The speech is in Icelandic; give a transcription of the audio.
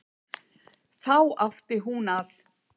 Þá átti hún að